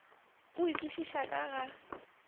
o e kwešišago ka ga